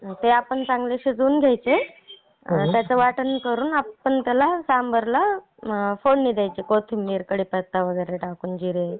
ते आपण शीजवून घ्यायचे आणि त्याचं वाटण करून आपण त्याला सांबरला फोडणी द्यायची. कोथिंबीर कडीपत्ता वैगेरे टाकून जिरे मोहरी टाकून.